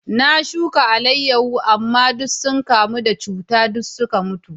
Na shuka alayyahu, amma sun kamu da cuta duk suka mutu.